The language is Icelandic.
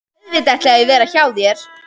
Auðvitað ætla ég að vera hjá þér!